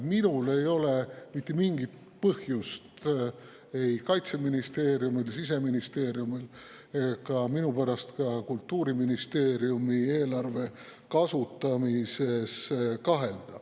Minul ei ole mitte mingit põhjust ei Kaitseministeeriumi, Siseministeeriumi ega minupärast ka Kultuuriministeeriumi eelarve kasutamises kahelda.